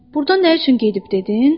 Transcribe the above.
Burdan nə üçün gedib dedin?